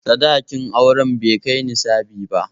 Sadakin auren bai kai nisabi ba.